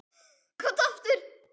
Kominn aftur?